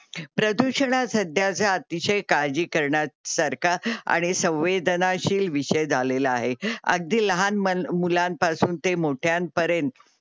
प्रदुशाणा सध्याच्या अतिशय काळजी करण्यासारखा आणि संवेन्दानाशील विषय झालेला आहे अगदी लहान मं मुलांपासून ते मोठ्यान्परेंत.